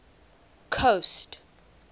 coast